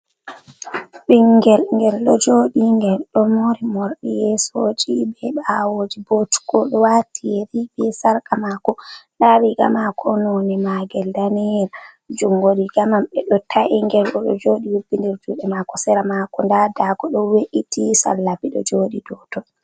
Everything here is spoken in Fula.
Ɓingel, ngel ɗo joɗi, ngel ɗo mori morɗi yesoji be bawoji bo cuko wati yeri be sarqa mako, nda riga mako none magel daniyel, jungo rigamai ɓeɗo ta’i gel oɗo joɗi hubbidir juɗe mako, sira mako nda dago do we’iti sallabi ɗo joɗi doton.